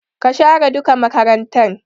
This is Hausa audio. Ka share duka makarantan!